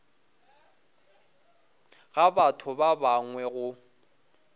ga batho ba bangwe go